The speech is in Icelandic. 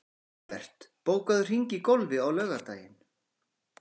Hagbert, bókaðu hring í golf á laugardaginn.